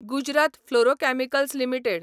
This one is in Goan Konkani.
Gujarat Fluorochemicals limited